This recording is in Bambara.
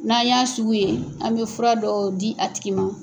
N'an y'a sugu ye, an bɛ fura dɔ di a tigi ma.